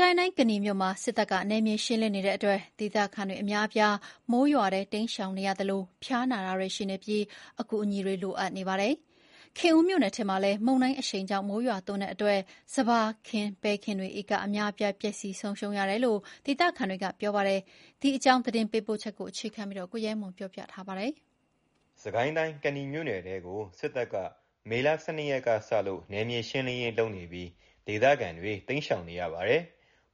ကိုင်းတိုင်း၊ ကနီမြို့မှာ စစ်တပ်ကနယ်မြေရှင်းလင်းနေတဲ့အတွက် ဒေသခံအများအပြား မိုးရွာထဲ တိမ်းရှောင်နေရတာကြောင့် ဖျားနာသူတွေရှိနေပြီး အကူအညီလိုအပ်နေပါတယ်။ ခင်ဦးမြို့နယ်ထဲမှာလည်း မုန်တိုင်းမိုးရွာတာကြောင့် စပါးခင်း၊ ပဲခင်းတွေ ဧကအများအပြား ပျက်စီးဆုံးရှုံးတယ်လို့ ဒေသခံတွေက ပြောပါတယ်။ ဒီအကြောင်း သတင်းပေးပို့ချက်ကို ကိုရဲမွန်က တင်ပြပေးထားပါတယ်။ စစ်ကိုင်းတိုင်း၊ ကနီမြို့နယ်ထဲကို စစ်တပ်က မေ ၁၂ ရက်ကစလို့ နယ်မြေရှင်းလင်းရေးလုပ်နေပြီး ဒေသခံတွေ တိမ်းရှောင်နေရပါတယ်။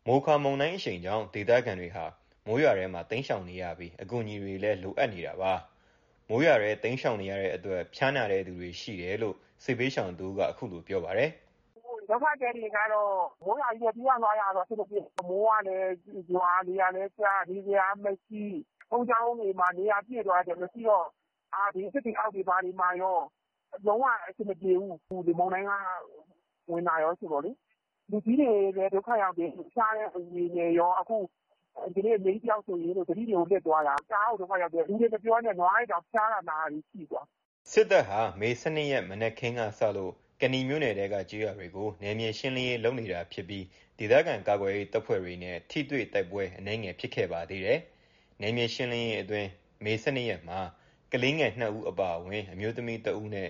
မိုခါမုန်တိုင်းအရှိန်ကြောင့် ဒေသခံတွေဟာ မိုးရွာထဲမှာ တိမ်းရှောင်နေရပြီး အကူအညီတွေလည်း လိုအပ်နေတာပါ။ မိုးရွာထဲတိမ်းရှောင်နေရတဲ့အတွက် ဖျားနာတဲ့သူတွေရှိတယ်လို့ စစ်ဘေးရှောင်တဦးက အခုလို ပြောပါတယ်။ “ဒုက္ခသည်တွေက မိုးရွာကြီးထဲ ပြေးရတာဆိုတော့ အဆင်မပြေဘူး။ မိုးကလည်းရွာ၊ လေကလည်းတိုက်၊ နေစရာကမရှိ၊ ဘုန်းကြီးကျောင်းတွေလည်း နေရာပြည့်သွားတော့ မရှိတော့၊ သစ်ပင်အောက်တွေ ဘာတွေမှာကော လုံးဝ အဆင်မပြေဘူး။ လေမုန်တိုင်းက ဝင်တာကောဆိုတော့လေ။ လူကြီးတွေလည်း ဒုက္ခရောက်တယ်။ ဖျားတဲ့သူတွေနဲ့ကော ဒီကနေ့ အမေကြီးတယောက်ဆိုရင် သတိတွေကို လစ်သွားတာ။ တအားကို ဒုက္ခရောက်တယ်။ လူတွေမပြောနဲ့၊ နွားတွေတောင် ဖျားတာ နာတာတွေရှိတာ။” စစ်တပ်ဟာ မေ ၁၂ ရက်မှာ မနက်ခင်းကစလို့ ကနီမြို့နယ်ထဲက ကျေးရွာတွေကို နယ်မြေရှင်းလင်းရေးလုပ်နေပြီး ဒေသခံကာကွယ်ရေး တပ်ဖွဲ့ဝင်တွေနဲ့ ထိတွေ့တိုက်ပွဲ အနည်းဖြစ်ခဲ့ပါသေးတယ်။ နယ်မြေရှင်းလင်းရေးအတွင်း မေ ၁၂ ရက်မှာ ကလေး ငယ် ၂ ဦးအပါအဝင် အမျိုးသမီးတဦးနဲ့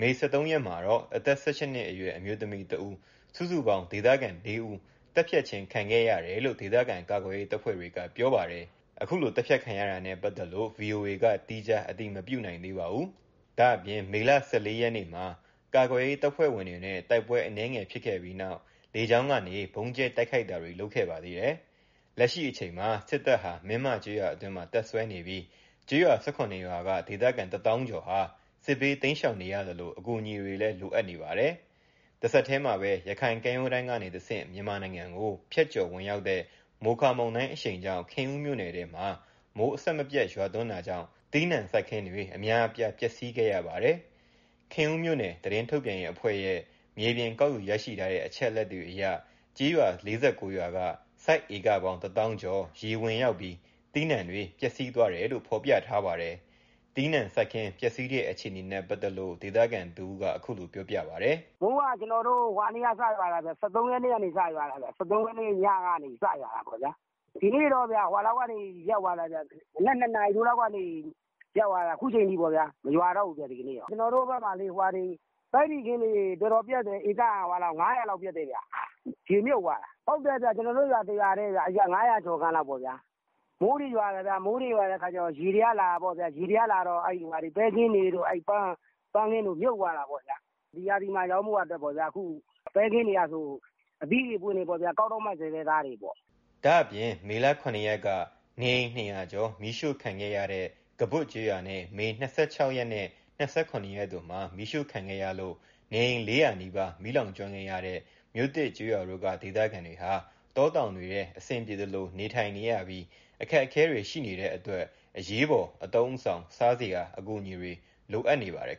မေ ၁၃ ရက်မှာတော့ အသက် ၁၈ နှစ်အရွယ် အမျိုးသမီးတဦး စုစုပေါင်း ဒေသခံ ၄ ဦး သတ်ဖြတ်ခံခဲ့ရတယ်လို့ ဒေသခံကာကွယ်ရေးတပ်ဖွဲ့တွေက ပြောပါတယ်။ သတ်ဖြတ်ခံရတာနဲ့ပတ်သက်လို့ ဗွီအိုအေက သီးခြား အတည်မပြုနိုင်သေးပါဘူး။ ဒါ့ပြင် မေ ၁၄ ရက်၊ မနေ့ကလည်း ကာကွယ်ရေးတပ်ဖွဲ့ဝင်တွေနဲ့ တိုက်ပွဲအနည်းငယ်ဖြစ်ခဲ့ပြီးနောက် လေကြောင်းကနေ ဗုံးကြဲ တိုက်ခိုက်ခဲ့ပါသေးတယ်။ လက်ရှိအချိန် စစ်တပ်ဟာ မင်းမကျေးရွာအတွင်းမှာ တပ်စွဲနေပြီး ကျေးရွာ ၁၇ ရွာက ဒေသခံတသောင်းကျော်ဟာ စစ်ဘေးတိမ်းရှောင်နေရသလို အကူအညီတွေလည်း လိုအပ်နေပါတယ်။ တဆက်တည်းမှာပဲ ရခိုင်ကမ်းရိုးတမ်းကနေတဆင့် မြန်မာနိုင်ငံကို ဖြတ်ကျော်ဝင်ရောက်တဲ့ မိုခါမုန်တိုင်အရှိန်ကြောင့် ခင်ဦးမြို့နယ်ထဲမှာ မိုးအဆက်မပြတ်ရွာသွန်းပြီး သီးနှံစိုက်ခင်းတွေ အများအပြား ပျက်စီးခဲ့ရပါတယ်။ ခင်ဦးမြို့နယ် သတင်းထုတ်ပြန်ရေးအဖွဲ့ရဲ့ မြေပြင် ကောက်ယူရရှိထားတဲ့ အချက်အလက်တွေအရ ကျေးရွာ ၄၉ ရွာက စိုက်ဧကပေါင်းတသောင်းကျော် ရေဝင်ရောက်ပြီး သီးနှံတွေ ပျက်စီးသွားတယ်လို့ ဖော်ပြထားပါတယ်။ သီးနှံစိုက်ခင်းပျက်စီးတဲ့အခြေအနေနဲ့ပတ်သက်လို့ ဒေသခံတဦး အခုလို ပြောပြပါတယ်။ “မိုးက ၁၃ ရက်နေ့ကနေစရွာတာ။ ၁၃ ရက်နေ့ညကနေ စရွာတာပေါ့လေ။ ဒီနေ့ကတော့ မနက် ၂ နာရီထိုးလောက်ကနေ ရပ်သွားတာ အခုချိန်ထိပဲ၊ မရွာတော့ဘူးဗျ။ ကျနော်တို့ဘက်မှာ ပဲတီစိမ်းခင်းတွေ တော်တော်ပျက်တယ်။ ဧက ၅၀၀ လောက်ပျက်တယ်ခင်ဗျ။ ရေမြုပ်သွာတာ။ ဟုတ်တယ် ကျနော်တို့ ရွာ တရွာတည်း ၅၀၀ ကျော်ခန့်လောက်ပေါ့ဗျာ။ မိုးတွေရွာတယ်၊ မိုးရွာတော့ ရေတွေကလာတယ်၊ ရေတွေကလာတော့ ပဲခင်းတွေ ပန်းခင်းတွေ မြုပ်သွားတာပေါ့။ ဒီရာသီမှာရောင်းဖို့ ပဲခင်းတွေကဆို အသီးတွေ အပွင့်တွေပေါ့၊ ကောက်တော့မယ့်ဆဲဆဲပေါ့။” ဒါ့ပြင် မေလ မေလ ၇ ရက်က နေအိမ် ၂၀၀ ကျော် မီးရှို့ခံခဲ့ရတဲ့ ကဘွတ်ကျေးရွာနဲ့ မေ ၂၆ ရက်နဲ့ ၂၇ ရက်တို့မှာ မီးရှို့ခံခဲ့ရလို့ နေအိမ် ၄၀၀ နီးပါး မီးလောင်ကျွမ်းခဲ့ရတဲ့ မြို့သစ်ကျေးရွာတို့က ဒေသခံတွေဟာ တောတောင်တွေထဲ အဆင်ပြေသလို နေထိုင်နေရပြီး အခက်အခဲတွေ ရှိနေတဲ့အတွက် အရေးပေါ် အသုံးအဆောင် စားစရာ အကူအညီတွေ လိုအပ်နေပါတယ်